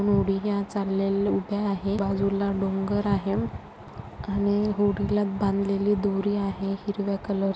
होडीया चालेल्या उभ्या आहे बाजूला डोंगर आहे आणि होडीला बांधलेली दोरी आहे हिरव्या कलर --